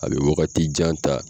A bɛ wagati jan ta.